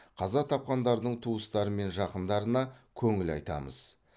қаза тапқандардың туыстары мен жақындарына көңіл айтамыз